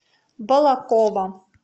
балаково